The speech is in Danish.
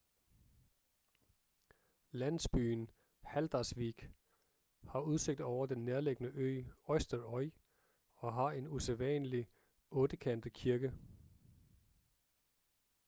landsbyen haldarsvík har udsigt over den nærliggende ø eysturoy og har en usædvanlig ottekantet kirke